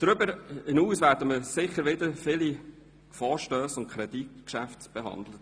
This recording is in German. Darüber hinaus haben wir sicher wieder viele Vorstösse und Kreditgeschäfte zu behandeln.